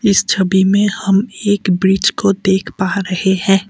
इस छवि मे हम एक ब्रिज को देख पा रहे है।